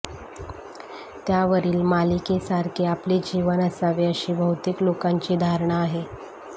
त्यावरील मालिकेसारखे आपले जीवन असावे अशी बहुतेक लोकांची धारणा आहे